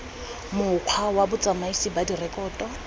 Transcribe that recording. mokgwa wa botsamaisi ba direkoto